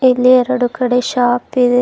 ಇಲ್ಲಿ ಎರಡು ಕಡೆ ಶಾಪ್ ಇದೆ.